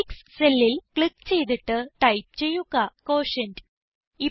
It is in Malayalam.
അ6 cellൽ ക്ലിക്ക് ചെയ്തിട്ട് ടൈപ്പ് ചെയ്യുക ക്യൂട്ടിയന്റ്